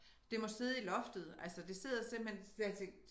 Det må sidde i loftet altså det sidder simpelthen så har jeg tænkt